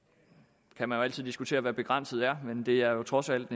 og nu altid diskutere hvad begrænset er men det er jo trods alt